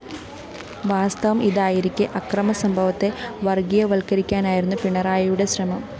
വാസ്തവം ഇതായിരിക്കെ അക്രമസംഭവത്തെ വര്‍ഗീയവത്കരിക്കാനായിരുന്നു പിണറായിയുടെ ശ്രമം